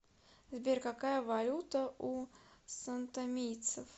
сбер какая валюта у сантомийцев